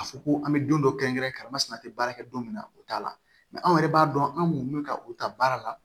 A fɔ ko an bɛ don dɔ kɛrɛnkɛrɛnmasina tɛ baara kɛ don min na o t'a la anw yɛrɛ b'a dɔn an mun bɛ ka u ta baara la